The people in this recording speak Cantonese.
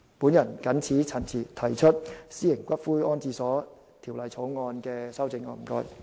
我謹此陳辭，就《私營骨灰安置所條例草案》提出修正案。